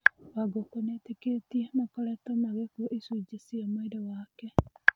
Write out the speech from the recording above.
Wangũkũnĩetĩkĩtie makoretwo magĩkua icunjĩ cia mwĩrĩ wake.